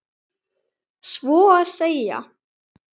Svo að segja.